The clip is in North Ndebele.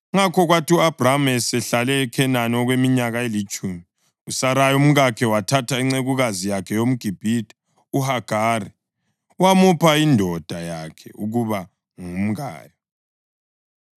Ngakho kwathi u-Abhrama esehlale eKhenani okweminyaka elitshumi, uSarayi umkakhe wathatha incekukazi yakhe yomGibhithe uHagari wamupha indoda yakhe ukuba ngumkayo.